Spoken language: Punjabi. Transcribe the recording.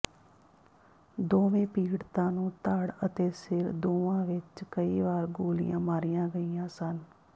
ਦੋਵੇਂ ਪੀੜਤਾਂ ਨੂੰ ਧੜ ਅਤੇ ਸਿਰ ਦੋਵਾਂ ਵਿਚ ਕਈ ਵਾਰ ਗੋਲੀਆਂ ਮਾਰੀਆਂ ਗਈਆਂ ਸਨ